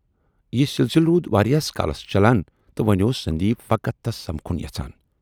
یہِ سِلسِلہٕ روٗد واراہ کالس چلان تہٕ وۅنۍ اوس سندیپ فقط تس سمکھُن یَژھان۔